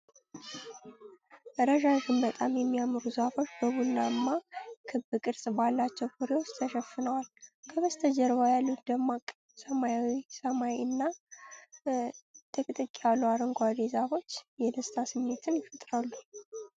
ረዣዥም በጣም የሚያምሩ ዛፎች በቡናማ ክብ ቅርጽ ባላቸው ፍሬዎች ተሸፍነዋል። ከበስተጀርባ ያሉት ደማቅ ሰማያዊ ሰማይ እና ጥቅጥቅ ያሉ አረንጓዴ ዛፎች የደስታ ስሜትን ይፈጥራሉ።